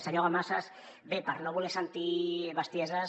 senyor dalmases bé per no voler sentir bestieses